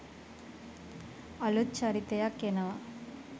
අලුත් චරිතයක් එනවා.